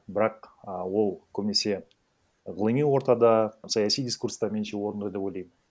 бірақ а ол көбінесе ғылыми ортада саяси дискурста меніңше орынды деп ойламын